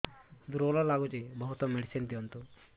ଦୁର୍ବଳ ଲାଗୁଚି ବହୁତ ମେଡିସିନ ଦିଅନ୍ତୁ